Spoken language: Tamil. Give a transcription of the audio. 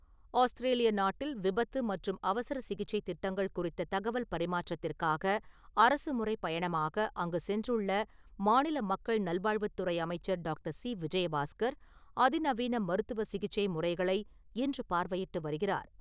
ஆஸ்திரேலிய நாட்டில் , விபத்து மற்றும் அவசர சிகிச்சை திட்டங்கள் குறித்த தகவல் பரிமாற்றத்திற்காக அரசுமுறை பயணமாக அங்கு சென்றுள்ள மாநில மக்கள் நல்வாழ்வுத்துறை அமைச்சர் டாக்டர்.சி.விஜயபாஸ்கர் அதிநவீன மருத்துவ சிகிச்சை முறைகளை இன்று பார்வையிட்டு வருகிறார் .